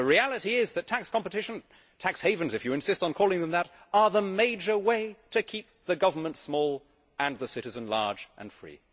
The reality is that tax competition tax havens, if you insist on calling them that is the major way to keep the government small and the citizen large and free.